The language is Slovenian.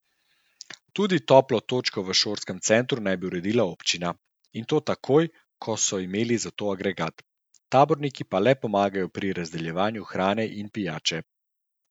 Tudi toplo točko v šolskem centru naj bi uredila občina, in to takoj, ko so imeli za to agregat, taborniki pa le pomagajo pri razdeljevanju hrane in pijače.